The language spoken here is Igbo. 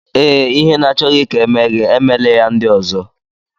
Ee, Ihe ị na-achọghị ka e mee gị emela ya ndị ọzọ.